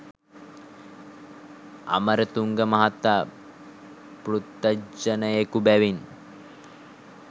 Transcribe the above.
අමරතුංග මහතා පෘතජ්ජනයකු බැවින්